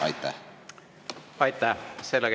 Aitäh!